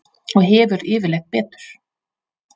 Og hefur yfirleitt betur.